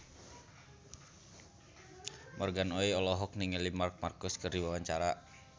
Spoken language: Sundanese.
Morgan Oey olohok ningali Marc Marquez keur diwawancara